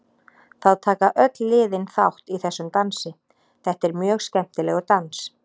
Það taka öll liðin þátt í þessum dansi, þetta er mjög skemmtilegur dans.